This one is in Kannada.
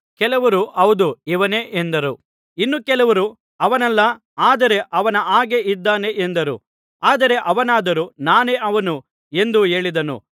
ಕೆಲವರು ಹೌದು ಇವನೇ ಎಂದರು ಇನ್ನೂ ಕೆಲವರು ಅವನಲ್ಲ ಆದರೆ ಅವನ ಹಾಗೆ ಇದ್ದಾನೆ ಎಂದರು ಆದರೆ ಅವನಾದರೋ ನಾನೇ ಅವನು ಎಂದು ಹೇಳಿದನು